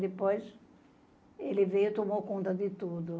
Depois, ele veio e tomou conta de tudo.